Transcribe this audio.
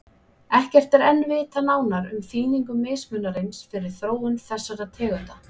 Ekkert er enn vitað nánar um þýðingu mismunarins fyrir þróun þessara tegunda.